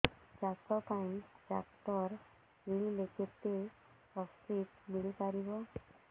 ଚାଷ ପାଇଁ ଟ୍ରାକ୍ଟର କିଣିଲେ କେତେ ସବ୍ସିଡି ମିଳିପାରିବ